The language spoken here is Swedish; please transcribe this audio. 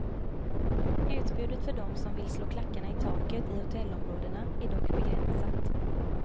Utbudet för dem som vill slå klackarna i taket i hotellområdena är dock begränsat.